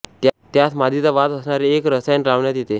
त्यास मादीचा वास असणारे एक रसायन लावण्यात येते